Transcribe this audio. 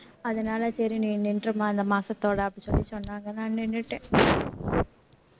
அதனால சரி நீ நின்றுரும்மா இந்த மாசத்தோட அப்படின்னு சொல்லி சொன்னா நான் நின்னுட்டேன்